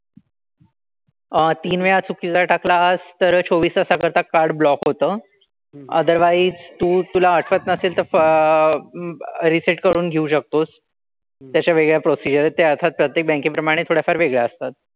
अह तीन वेळा चुकीचा टाकलास तर चोवीस तासाकरता card block होतं. otherwise तू तुला आठवत नसेल तर reset करून घेऊ शकतोस. त्याच्या वेगळ्या procedure आहेत. ते अर्थात प्रत्येक bank प्रमाणे थोड्याफार वेगळ्या असतात.